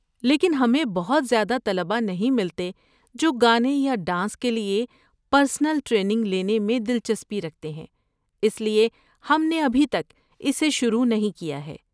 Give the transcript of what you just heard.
لیکن ہمیں بہت زیادہ طلبہ نہیں ملتے جو گانے یا ڈانس کے لیے پرنسل ٹریننگ لینے میں دلچسپی رکھتے ہیں، اس لیے ہم نے ابھی تک اسے شروع نہیں کیا ہے۔